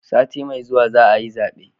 Sati mai zuwa za a yi zabe